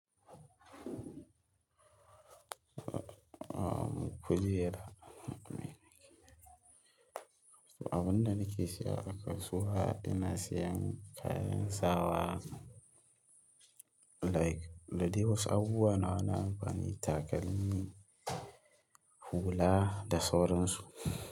Ahm, ku jera. Abin da nake siya a kasuwa, ina siyan kayan sawa like da dai wasu abubuwa nawa na amfani, takalmi, hula da sauransu.